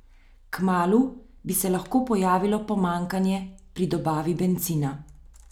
Kmalu bi se lahko pojavilo pomanjkanje pri dobavi bencina.